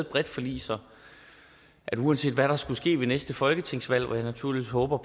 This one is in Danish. bredt forlig sådan at det uanset hvad der skulle ske ved næste folketingsvalg hvor jeg naturligvis håber